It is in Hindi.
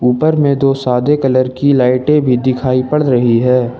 ऊपर में दो सादे कलर की लाइटें भी दिखाई पड़ रही है।